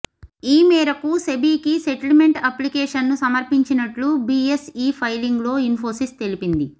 ఈ మేరకు సెబికి సెటిల్మెంట్ అప్లికేషన్ను సమర్పించినట్లు బిఎస్ఈ ఫైలింగ్లో ఇన్ఫోసిస్ తెలిపింది